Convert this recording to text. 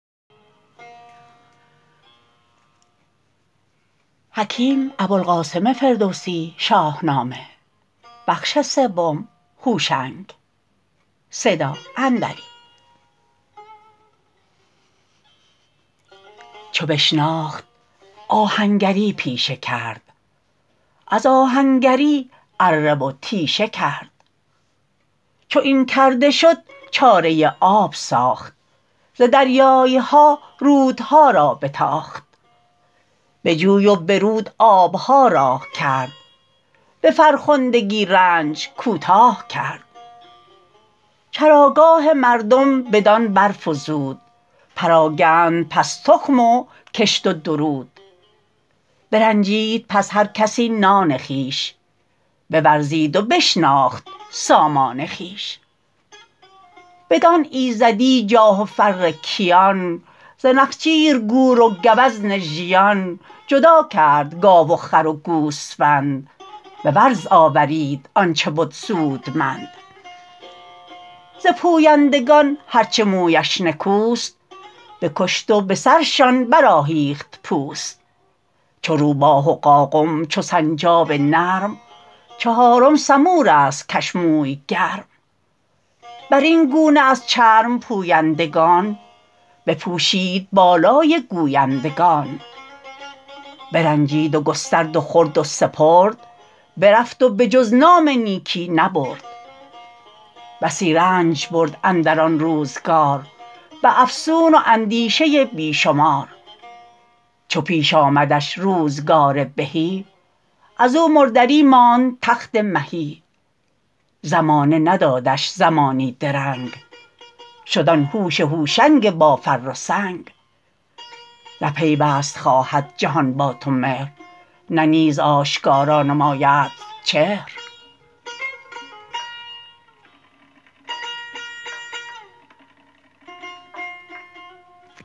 چو بشناخت آهنگری پیشه کرد از آهنگری اره و تیشه کرد چو این کرده شد چاره آب ساخت ز دریای ها رودها را بتاخت به جوی و به رود آب ها راه کرد به فرخندگی رنج کوتاه کرد چراگاه مردم بدان برفزود پراگند پس تخم و کشت و درود برنجید پس هر کسی نان خویش بورزید و بشناخت سامان خویش بدان ایزدی جاه و فر کیان ز نخچیر گور و گوزن ژیان جدا کرد گاو و خر و گوسفند به ورز آورید آن چه بد سودمند ز پویندگان هر چه مویش نکوست بکشت و به سرشان برآهیخت پوست چو روباه و قاقم چو سنجاب نرم چهارم سمور است کش موی گرم بر این گونه از چرم پویندگان بپوشید بالای گویندگان برنجید و گسترد و خورد و سپرد برفت و به جز نام نیکی نبرد بسی رنج برد اندر آن روزگار به افسون و اندیشه بی شمار چو پیش آمدش روزگار بهی از او مردری ماند تخت مهی زمانه ندادش زمانی درنگ شد آن هوش هوشنگ با فر و سنگ نه پیوست خواهد جهان با تو مهر نه نیز آشکارا نمایدت چهر